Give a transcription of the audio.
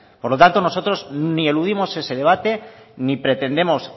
por lo tanto nosotros ni eludimos ese debate ni pretendemos